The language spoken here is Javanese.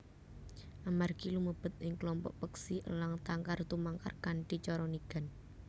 Amargi lumebet ing klompok peksi elang tangkar tumangkar kanthi cara nigan